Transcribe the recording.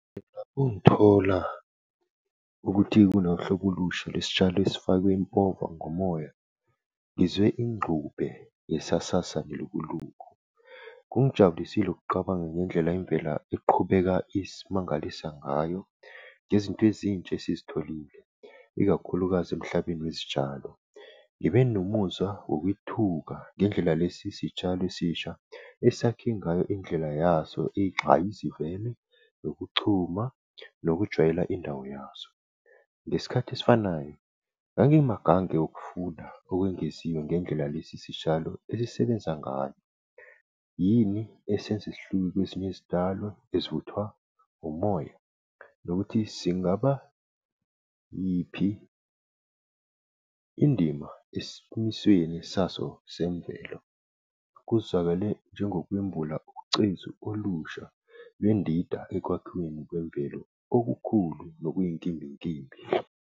Ungithola ukuthi kunohlobo olusha lesitshalo esifakwe impova ngomoya, ngizwe ingxube yesasasa nelukuluku. Kungijabulisile ukuqabanga ngendlela imvela eqhubeka isimangalisa ngayo, nezinto ezintsha esizitholile, ikakhulukazi emhlabeni wezitshalo. Ngibe nomuzwa wokwethuka ngendlela lesi sitshalo esisha esakhe ngayo indlela yaso eyinxayizivele yokuchuma nokujwayela indawo yaso. Ngesikhati esifanayo, ngangimagange ukufuna okwengeziwe ngendlela lesi sitshalo esisebenza ngayo. Yini esenza sihluke kwezinye izitshalo ezifuthwa ngomoya? Nokuthi, singaba yiphi indima esimisweni saso semvelo? Kuzwakale njengokwembula ucezu olusha lwendida ekwakhiweni kwemvelo okukhulu nokuyi nkimbinkimbi.